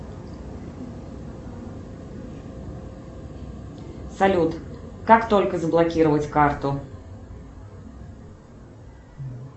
салют как только заблокировать карту